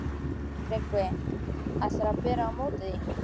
TRYGGVI: Ætlarðu að bera á móti því?